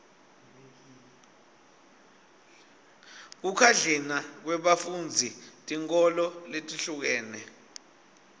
kukhadlina kwebafundzi tinkholo letihlukene